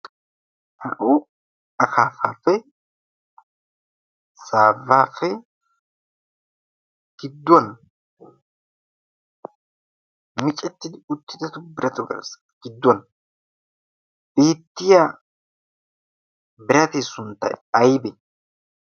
Na"u akaafaappe saawape gidduwan micettidi uttidatu birata garssi gidduwan beettiya biraati sunttay aybe?